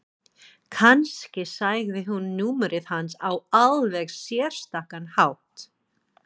Kannski sagði hún númerið hans á alveg sérstakan hátt.